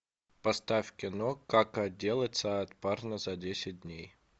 поставь кино как отделаться от парня за десять дней